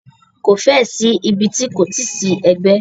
Ko fẹ́ ẹ̀ sí ibi ti kò ti sí ẹgbẹ́.